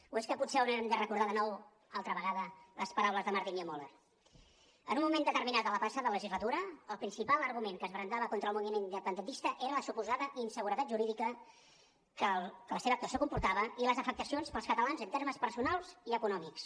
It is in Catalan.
o és que potser haurem de recordar de nou altra vegada les paraules de martin niemöller en un moment determinat de la passada legislatura el principal argument que es brandava contra el moviment independentista era la suposada inseguretat jurídica que la seva actuació comportava i les afectacions per als catalans en termes personals i econòmics